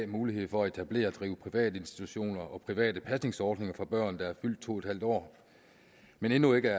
mulighed for at etablere og drive private institutioner og private pasningsordninger for børn der er fyldt to en halv år men endnu ikke